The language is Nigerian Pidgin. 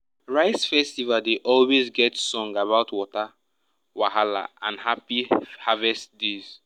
rice festival dey always get song about water wahala and happy harvest days.